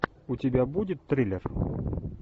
у тебя будет триллер